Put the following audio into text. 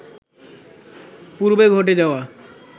পূর্বে ঘটে যাওয়া